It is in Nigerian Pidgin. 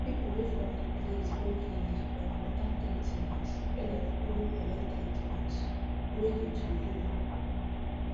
make people wey from de place go clinic for important treatment make dem follow collect treatment wey de to do